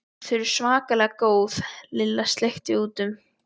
Þau eru svakalega góð Lilla sleikti út um.